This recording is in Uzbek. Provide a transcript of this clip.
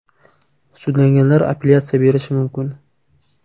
Sudlanganlar apellyatsiya berishi mumkin.